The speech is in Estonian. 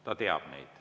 Ta teab neid.